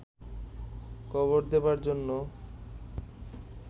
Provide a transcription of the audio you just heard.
কবর দেবার জন্য